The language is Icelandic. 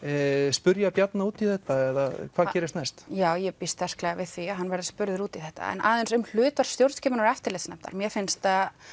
spyrja Bjarna út í þetta eða hvað gerist næst já ég býst sterklega við því að hann verði spurður út í þetta en aðeins um hlutverk stjórnskipunar og eftirlitsnefndar mér finnst að